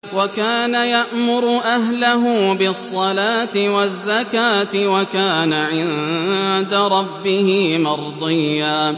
وَكَانَ يَأْمُرُ أَهْلَهُ بِالصَّلَاةِ وَالزَّكَاةِ وَكَانَ عِندَ رَبِّهِ مَرْضِيًّا